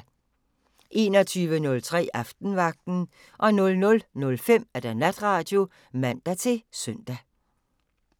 21:03: Aftenvagten 00:05: Natradio (man-søn)